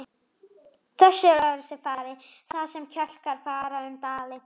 Þessu er öðruvísi farið þar sem jöklar fara um dali.